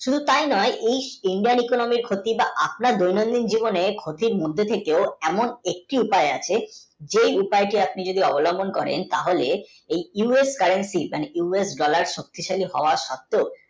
শুধু তাই নয় India economist ক্ষতি বা আপনার দৈনিক জীবনে ক্ষতির মধ্যে থেকেও এমন একটি উপায় আছে যেই উপায়টি আপনি যদি অবিল্বন করেন তাহলে এই us country মানে us dollar শক্তি শালীর সত্যই